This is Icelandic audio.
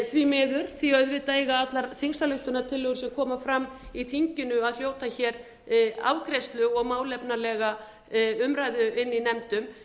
því miður því að auðvitað eiga allar þingsályktunartillögur sem koma fram í þinginu að hljóta hér afgreiðslu og málefnalega umræðu í nefndum